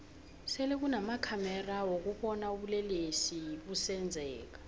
sele kunama khamexa wokubona ubulelesi busenzeka